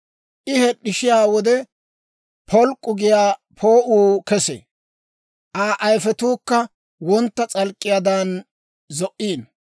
«I hed'd'ishiyaa wode, p'olk'k'u giyaa poo'uu kesee; Aa ayifetuukka wontta s'alk'k'iyaadan zo"iino.